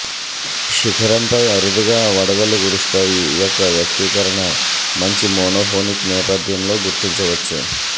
శిఖరంపై అరుదుగా వడగళ్ళు కురుస్తాయి యొక్క వ్యక్తీకరణ మంచి మోనోఫోనిక్ నేపథ్యంలో గుర్తించవచ్చు